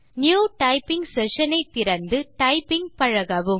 new typing session ஐ திறந்து typing பழகவும்